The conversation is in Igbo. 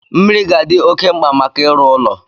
Mmiri ga-adị oké mkpa maka ịrụ ụlọ